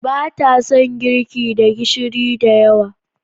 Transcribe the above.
Ba ta son girki da gishiri da yawa.